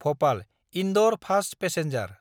भपाल–इन्दर fast passenger